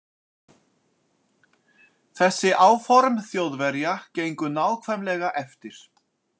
Þessi áform Þjóðverja gengu nákvæmlega eftir.